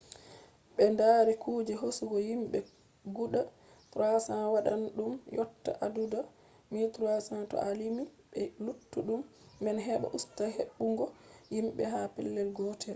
ɓeddari kuje hosugo himɓe guda 300 waɗan ɗum yotta adadu 1300 to a limi be luttuɗum man heɓa usta hebbungo himɓe ha pellel gotel